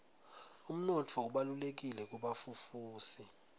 umnotfo ubalulekile kubafufusi